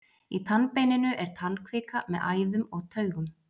í tannbeininu er tannkvika með æðum og taugum